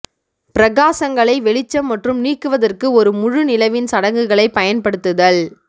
பிரகாசங்களை வெளிச்சம் மற்றும் நீக்குவதற்கு ஒரு முழு நிலவின் சடங்குகளைப் பயன்படுத்துதல்